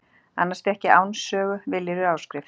Annars fékk ég Áns sögu, viljirðu afrit.